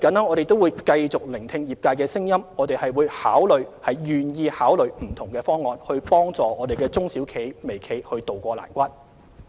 我們會繼續聆聽業界的聲音，亦願意考慮不同方案，協助中小微企渡過難關。